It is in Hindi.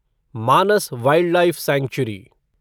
Manas wildlife sanctuary